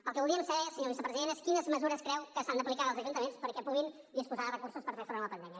el que voldríem saber senyor vicepresident és quines mesures creu que s’han d’aplicar als ajuntaments perquè puguin disposar de recursos per fer front a la pandèmia